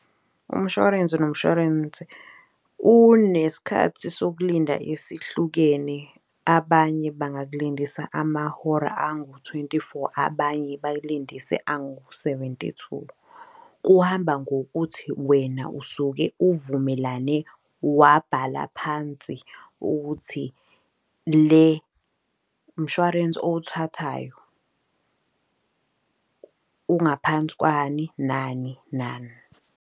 Umshwarensi nomshwarensi unesikhathi sokulinda esihlukene, abanye bangakulindisa amahora angu-twenty-four, abanye bayilindise angu-seventy-two. Kuhamba ngokuthi wena usuke uvumelane wabhala phansi ukuthi le mshwarensi owuthathayo ungaphansi kwani nani nani.